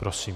Prosím.